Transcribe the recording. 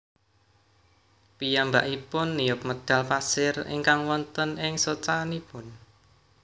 Piyambakipun niup medhal pasir ingkang wonten ing socanipun